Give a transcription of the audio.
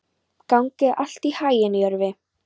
Gangi þér allt í haginn, Jörvi.